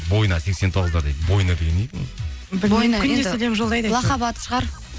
бойна сексен тоғыздар дейді бойна деген не екен лақап аты шығар